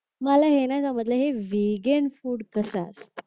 मला हे नाही समजलं कि हे वेगेंन फूड कस असत